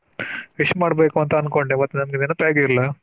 Wish ಮಾಡ್ಬೇಕು ಅಂತ ಅನ್ಕೊಂಡೆ, but ನಂಗೆ ನೆನಪೇ ಆಗಲಿಲ್ಲ.